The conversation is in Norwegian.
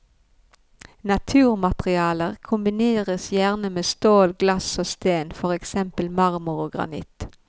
Naturmaterialer kombineres gjerne med stål, glass og sten, for eksempel marmor og granitt.